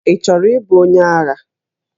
Ị chọrọ ịbụ onye agha?